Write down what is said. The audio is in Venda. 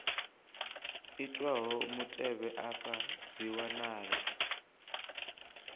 itwaho mutevhe afha dzi wanala